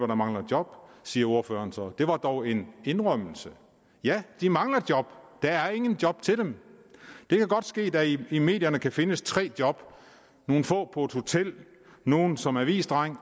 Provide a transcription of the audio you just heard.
der mangler job siger ordføreren så det var dog en indrømmelse ja de mangler job der er ingen job til dem det kan godt ske at der i medierne kan findes tre job nogle få på et hotel nogle som avisdreng